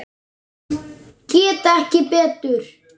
Ég get ekki betur.